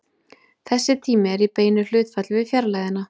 Þessi tími er í beinu hlutfalli við fjarlægðina.